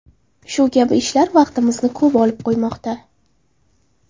Shu kabi ishlar vaqtimizni ko‘p olib qo‘ymoqda.